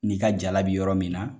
N'i ka jala bi yɔrɔ min na